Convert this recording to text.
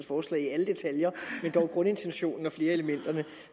forslag i alle detaljer men dog grundintentionen og flere af elementerne